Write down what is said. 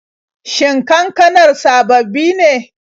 Shin kankanar sababbi ne?